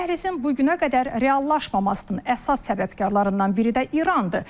Dəhlizin bugünküünə qədər reallaşmamasının əsas səbəbkarlarından biri də İrandır.